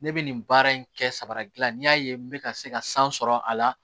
Ne bɛ nin baara in kɛ sabara gilan n'i y'a ye n bɛ ka se ka san sɔrɔ a la